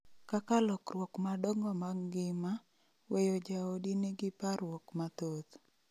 kaka lokruok madongo mag ngima, weyo jaodi nigi parruok mathoth